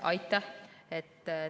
Aitäh!